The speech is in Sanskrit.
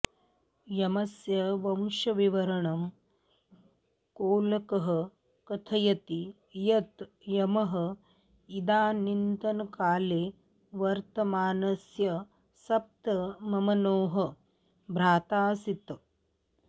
यमस्य वंशविवरणं कोलकः कथयति यत् यमः इदानीन्तनकाले वर्तमानस्य सप्तममनोः भ्राताऽऽसीत्